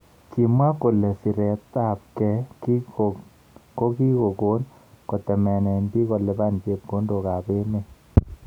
Kimwa kole siret ab kei kokikon kotemene bik kolipan chepkondok ab emet.